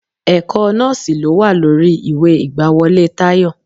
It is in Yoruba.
Ẹ̀kọ́ nọ́ọ̀sì ló wà lórí ìwé ìgbàwọlé Tayọ.